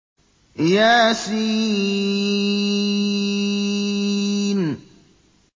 يس